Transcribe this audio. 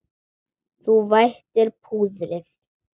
Þú vætir púðrið.